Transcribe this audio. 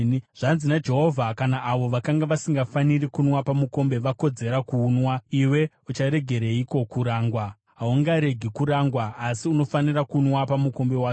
Zvanzi naJehovha: “Kana avo vakanga vasingafaniri kunwa pamukombe vakodzera kuunwa, iwe ucharegereiko kurangwa? Haungaregi kurangwa, asi unofanira kunwa pamukombe wacho.